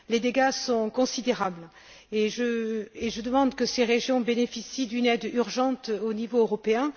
Les dégâts sont considérables, et je demande que ces régions bénéficient d'une aide urgente au niveau européen.